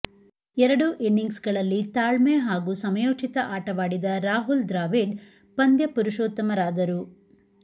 ಎರಡೂ ಇನ್ನಿಂಗ್ಸ್ಗಳಲ್ಲಿ ತಾಳ್ಮೆ ಹಾಗೂ ಸಮಯೋಚಿತ ಆಟವಾಡಿದ ರಾಹುಲ್ ದ್ರಾವಿಡ್ ಪಂದ್ಯ ಪುರುಷೋತ್ತಮರಾದರು